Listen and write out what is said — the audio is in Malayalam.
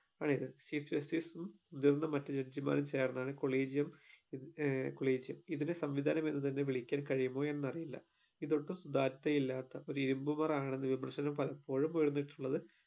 ആണ് ഇത് chief justice ഉം മുതിർന്ന മറ്റ് judge മാറും ചേർന്നാണ് collegium ഏർ collegium ഇതിനെ സംവിധാനം എന്ന് തന്നെ വിളിക്കാൻ കഴിയുമോ എന്ന് അറിയില്ല ഇത് ഒട്ടും സുധാര്യതയില്ലാത്ത ഒരു ഇരുമ്പു പുറാണെന്ന് ആണെന്ന് വിമർശനം പലപ്പോഴും ഉയർന്നിട്ടുള്ളത്